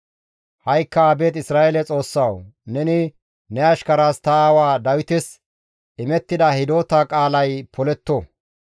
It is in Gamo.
Ha7ikka abeet Isra7eele Xoossawu! Neni ne ashkaraas ta aawa Dawites immida hidota qaalay poletto.